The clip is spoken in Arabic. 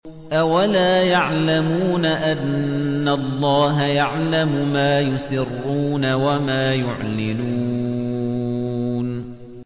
أَوَلَا يَعْلَمُونَ أَنَّ اللَّهَ يَعْلَمُ مَا يُسِرُّونَ وَمَا يُعْلِنُونَ